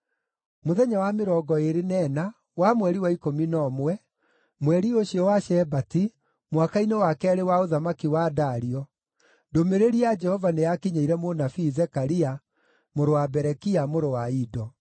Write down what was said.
Mũthenya wa mĩrongo ĩĩrĩ na ĩna wa mweri wa ikũmi na ũmwe, mweri ũcio wa Shebati, mwaka-inĩ wa keerĩ wa ũthamaki wa Dario, ndũmĩrĩri ya Jehova nĩyakinyĩire mũnabii Zekaria, mũrũ wa Berekia, mũrũ wa Ido.